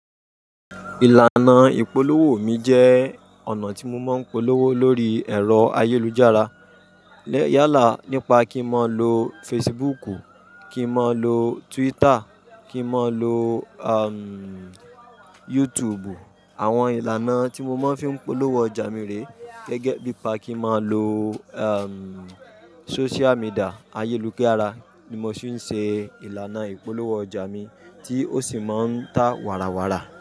Ìlànà ìpolówó mi jẹ́ ọ̀nà tí mo máa ń polówó lórí ẹ̀rọ ayélujára. Yálà nípa kí n máa lo Facebook, kí n máa lo Twitter, kí n máa lo, am, YouTube. Àwọn ìlànà tí mo máa ń fi polówó ọjà mi rè gẹ́gẹ́ bí i pa kí n máa lo, am, sóṣíà midìà ayélujára ni mo sì ń ṣe ìlànà ìpolówó ọjà mi tí ó sì máa ń ta wàrà wàrà.